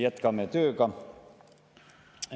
Jätkame tööga.